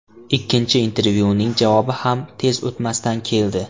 Ikkinchi intervyuning javobi ham tez o‘tmasdan keldi.